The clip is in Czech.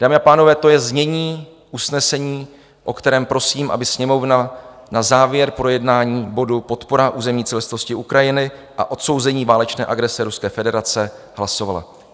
Dámy a pánové, to je znění usnesení, o kterém, prosím, aby Sněmovna na závěr projednání bodu Podpora územní celistvosti Ukrajiny a odsouzení válečné agrese Ruské federace hlasovala.